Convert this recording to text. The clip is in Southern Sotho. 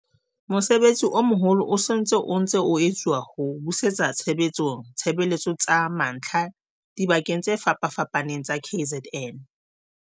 Mosebetsi o moholo o se o ntse o etsuwa ho busetsa tshebetsong ditshebeletso tsa mantlha dibakeng tse fapafapaneng tsa KZN.